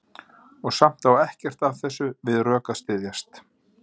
Og samt á ekkert af þessu við rök að styðjast.